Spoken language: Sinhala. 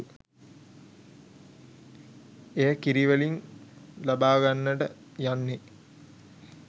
එය කිරි වලින් ලබා ගන්නට යන්නේ